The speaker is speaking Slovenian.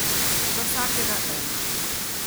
Za vsakega ena.